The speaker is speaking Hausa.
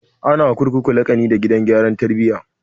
Ana wa kurkuku laƙani da gidan gyaran tarbiya